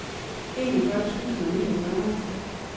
enogfyrre tusind og niogfyrre